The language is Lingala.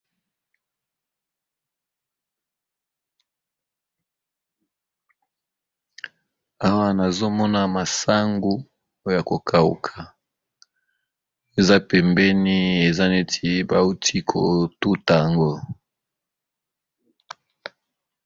Awa nazomona masangu oyo yako kauka eza pembeni eza neti bawuti kotuta yango.